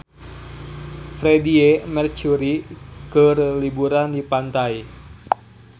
Freedie Mercury keur liburan di pantai